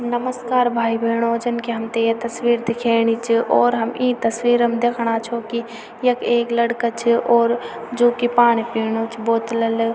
नमस्कार भाई-भेणाे जन की हमथे ये तस्वीर दिखेणी च और हम ई तस्वीर म दिखणा छो की यख एक लड़का च और जू की पाणी पीनु च बोतल ल।